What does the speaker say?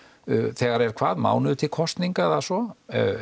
þegar er hvað mánuður til kosninga eða svo